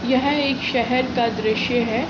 यह एक शहर का दॄश्य है।